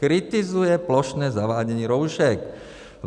Kritizuje plošné zavádění roušek.